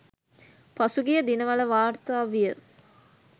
පසුගිය දිනවල වාර්තා විය